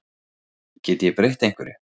Get ég breytt einhverju?